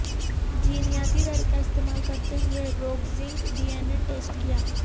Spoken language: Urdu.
جینیاتی طریقہ استعمال کرتے ہوئے روگزنق ڈی این اے ٹیسٹ کیا